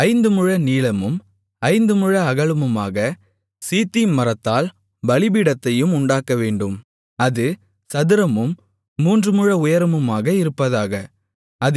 ஐந்து முழ நீளமும் ஐந்து முழ அகலமாக சீத்திம் மரத்தால் பலிபீடத்தையும் உண்டாக்கவேண்டும் அது சதுரமும் மூன்று முழ உயரமுமாக இருப்பதாக